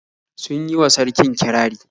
Sun yi wa sarkin kirari.